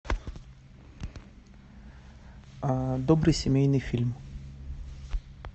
добрый семейный фильм